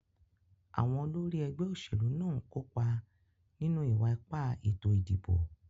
Àwon olórí ẹgbẹ́ òṣèlú náà ń kópa nínú ìwa-ipá ètò ìdìbò.